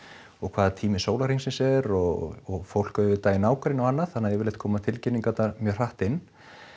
og hvaða tími sólarhrings er og fólk auðvitað í nágrenni og annað þannig að yfirleitt koma tilkynningarnar mjög hratt inn